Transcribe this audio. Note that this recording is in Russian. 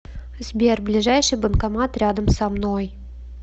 сбер ближайший банкомат рядом со мной